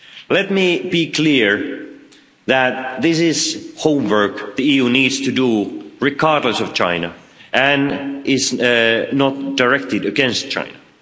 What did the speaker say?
Let me be clear that this is homework the EU needs to do regardless of China and is not directed against China.